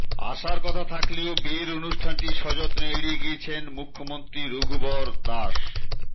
আসার কথা থাকলেও বিয়ের অনুষ্ঠানটি সযত্নে এড়িয়ে গিয়েছেন মুখ্যমন্ত্রী রঘুবর দাস